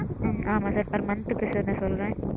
ம்ம் ஆமாம் sir per month க்கு sir நான் சொல்றேன்.